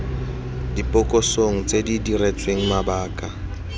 dibokosong tse di diretsweng mabaka